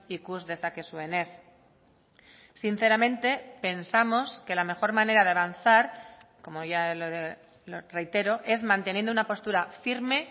ikus dezakezuenez sinceramente pensamos que la mejor manera de avanzar como ya lo reitero es manteniendo una postura firme